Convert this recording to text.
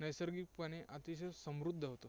नैसर्गिकपणे अतिशय समृद्ध होतं.